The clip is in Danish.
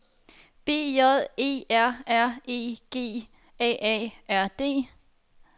B J E R R E G A A R D